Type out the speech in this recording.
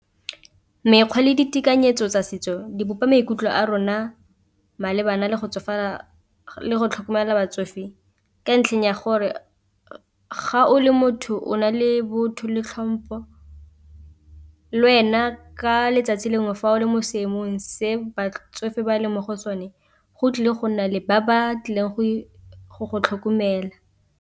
Mekgwa le ditekanyetso tsa setso di bopa maikutlo a rona malebana le go tsofala le go tlhokomela batsofe, ka ntlheng ya gore ga o le motho o na le botho le tlhompho le wena ka letsatsi lengwe fa o le mo seemong se batsofe ba leng mo go sone go tlile go nna le ba ba tlileng go go tlhokomela.